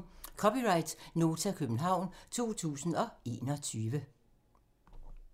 (c) Nota, København 2021